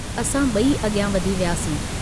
असां ब॒ई अगियां वधी वियासीं।